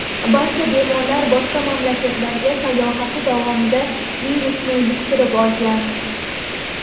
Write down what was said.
Barcha bemorlar boshqa mamlakatlarga sayohati davomida virusni yuqtirib olgan.